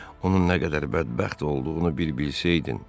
Onun nə qədər bədbəxt olduğunu bir bilsəydin.